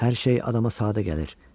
Hər şey adama sadə gəlir.